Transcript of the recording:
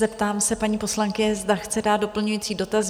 Zeptám se paní poslankyně, zda chce dát doplňující dotaz?